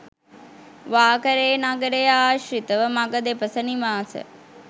වාකරේ නගරය ආශ්‍රිතව මග දෙපස නිවාස